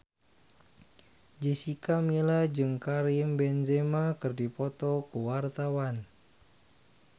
Jessica Milla jeung Karim Benzema keur dipoto ku wartawan